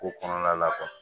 Ko kɔnɔna la